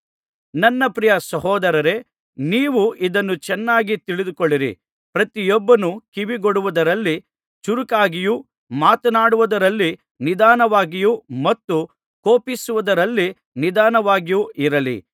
ನನ್ನ ಪ್ರಿಯ ಸಹೋದರರೇ ನೀವು ಇದನ್ನು ಚೆನ್ನಾಗಿ ತಿಳಿದುಕೊಳ್ಳಿರಿ ಪ್ರತಿಯೊಬ್ಬನೂ ಕಿವಿಗೊಡುವುದರಲ್ಲಿ ಚುರುಕಾಗಿಯೂ ಮಾತನಾಡುವುದರಲ್ಲಿ ನಿಧಾನವಾಗಿಯೂ ಮತ್ತು ಕೋಪಿಸುವುದರಲ್ಲಿ ನಿಧಾನವಾಗಿಯೂ ಇರಲಿ